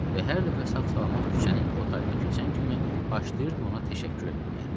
Və hər dəfə sağ-salamat küçənin o tayını keçən kimi başlayırdım ona təşəkkür eləməyə.